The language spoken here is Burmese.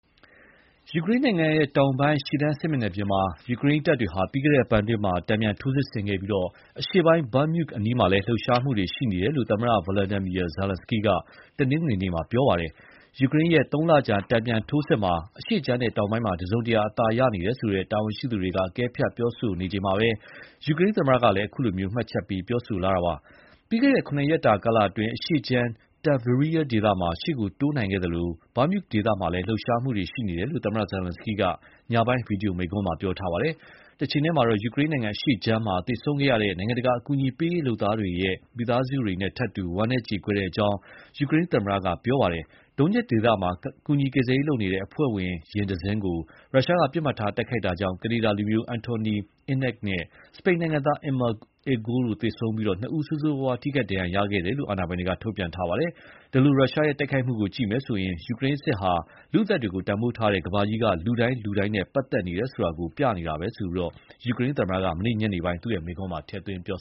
ယူကရိန်းနိုင်ငံတောင်ပိုင်း ရှေ့တန်းစစ်မျက်နှာပြင်မှာ ယူကရိန်းတပ်တွေက ပြီးခဲ့တဲ့အပတ်အတွင်း တန်ပြန်ထိုးစစ်ဆင်ခဲ့ပြီး အရှေ့ပိုင်း Bakhmut အနီးမှာလည်း လှုပ်ရှားမှုတွေ ရှိနေတယ်လို့ သမ္မတ Volodymyr Zelenskyy က တနင်္ဂနွေနေ့က ပြောပါတယ်။ ယူကရိန်းရဲ့ သုံးလကြာ တန်ပြန်ထိုးစစ်မှာ အရှေ့ခြမ်းနဲ့ တောင်ပိုင်းမှာ တစုံတရာ အသာနေရတယ်ဆိုတဲ့ တာဝန်ရှိသူတွေက အကဲဖြတ်ပြောဆိုနေချိန်မှာပဲ ယူကရိန်းသမ္မတကလည်း အခုလို မှတ်ချက်ပေးပြောဆိုလာတာပါ။ ပြီးခဲ့တဲ့ ၇ ရက်တာကာလအတွင်း အရှေ့ခြမ်း Tavria ဒေသမှာ ရှေ့ကိုတိုးနိုင်ခဲ့သလို Bakhut ဒေသမှာလည်း လှုပ်ရှားမှုတွေရှိနေတယ်လို့ သမ္မတ Zelenskyy က ညပိုင်း ဗွီဒီယိုမိန့်ခွန်းမှာ ပြောထားပါတယ်။ တချိန်တည်းမှာတော့ ယူကရိန်းနိုင်ငံအရှေ့ခြမ်းမှာ သေဆုံးခဲ့ရတဲ့ နိုင်ငံတကာအကူအညီပေးရေးလုပ်သားတွေရဲ့မိသားစုတွေနဲ့ထပ်တူ ဝမ်းနည်းကြေကွဲကြောင်း ယူကရိန်းသမ္မတ Volodymyr Zelenskyy က ပြောပါတယ်။ Donetsk ဒေသမှာ ကူညီကယ်ဆယ်ရေးအဖွဲ့ယာဉ်တစင်းကို ရုရှားက ပစ်မှတ်ထားတိုက်ခိုက်တာကြောင့် ကနေဒါလူမျိုး Anthony Ihnat နဲ့ စပိန်နိုင်ငံသား Emma Igual တို့ သေဆုံးပြီး ဆိုးဆိုးဝါးဝါး ထိခိုက်ဒဏ်ရာရသူ နှစ်ဦးရှိခဲ့တယ်လို့ အာဏာပိုင်တွေက ထုတ်ပြန်ခဲ့ပါတယ်။ ဒီလို ရုရှားရဲ့တိုက်ခိုက်မှုကိုကြည့်မယ်ဆိုရင် ယူကရိန်းစစ်ဟာ လူ့အသက်တွေကို တန်ဖိုးထားတဲ့ ကမ္ဘာကြီးက လူတိုင်း လူတိုင်းနဲ့ ပတ်သက်နေတယ်ဆိုတာကို ပြနေတာပဲလို့ ယူကရိန်းသမ္မတက မနေ့ညနေပိုင်း သူ့မိန့်ခွန်းမှာ ထည့်သွင်းပြော